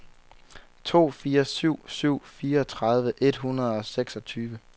to fire syv syv fireogtredive et hundrede og seksogtyve